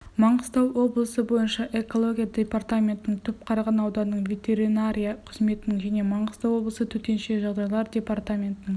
маңғыстау облысы бойынша экология департаментінің түпқараған ауданының ветеринария қызметінің және маңғыстау облысы төтенше жағдайлар департаментінің